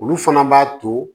Olu fana b'a to